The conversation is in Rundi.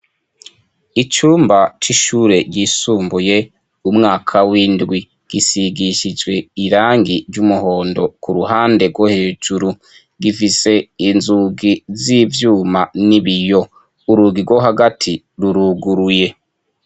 Icumba c'ishure ryisumbuye umwaka w'indwi gisigishijwe irangi ry'umuhondo ku ruhande rwo hejuru gifise inzugi z'ivyuma n'ibiyo urugigo hagati ruruguruye.